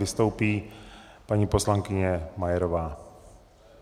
Vystoupí paní poslankyně Majerová.